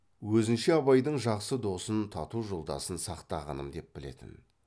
өзінше абайдың жақсы досын тату жолдасын сақтағаным деп білетін